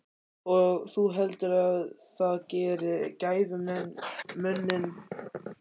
Og þú heldur það geri gæfumuninn?